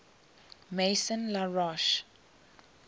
maison la roche